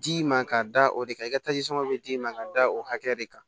D'i ma ka da o de kan i ka bɛ d'i ma ka da o hakɛ de kan